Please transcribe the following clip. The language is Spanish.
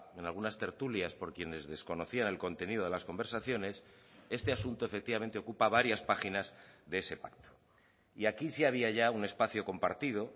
en algunas tertulias por quienes desconocían el contenido de las conversaciones este asunto efectivamente ocupa varias páginas de ese pacto y aquí sí había ya un espacio compartido